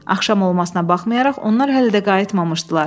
Axşam olmasına baxmayaraq, onlar hələ də qayıtmamışdılar.